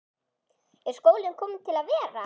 Er skólinn kominn til að vera?